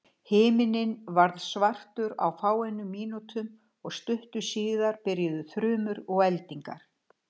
Himinninn varð svartur á fáeinum mínútum og stuttu síðar byrjuðu þrumur og eldingar.